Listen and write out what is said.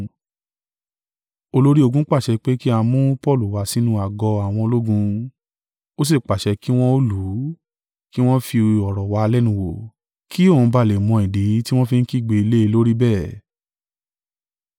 olórí ogun pàṣẹ pé kí a mú Paulu wá sínú àgọ́ àwọn ológun. Ó sì pàṣẹ kí wọ́n ó lù ú, kí wọn fi ọ̀rọ̀ wa lẹ́nu wò, kí òun ba à lè mọ ìdí tí wọ́n fi ń kígbe lé e lórí bẹ́ẹ̀.